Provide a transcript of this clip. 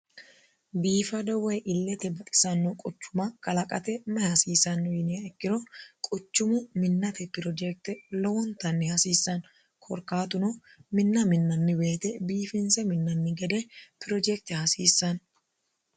biifado woyi illete baxisanno quchuma kalaqate mayi hasiissanno yiniha ikkiro quchumu minnate pirojekte lowontanni hasiissanno korkaatuno minna minnanni weete biifinse minnanni gede pirojekte hasiissanno